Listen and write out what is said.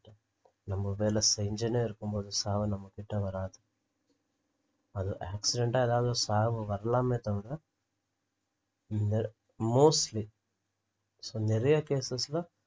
நம்ப வேலை செஞ்சுன்னே இருக்கும்போது சாவு நம்ம கிட்ட வராது அது accident ஆனாலும் சாவு வரலாமே தவிற mostly so நெறைய cases ல